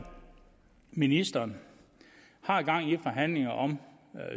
ministeren har gang i forhandlinger om